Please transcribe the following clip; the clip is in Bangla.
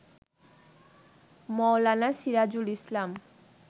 মাওলানা সিরাজুল ইসলাম